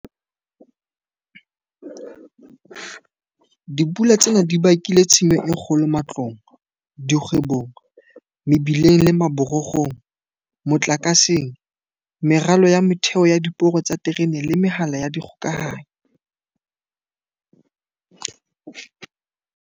Dipula tsena di bakile tshenyo e kgolo matlong, dikgwebong, mebileng le maborokgong, motlakaseng, meralo ya motheo ya diporo tsa diterene le mehala ya dikgokahanyo.